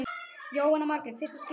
Jóhanna Margrét: Fyrsta skipti?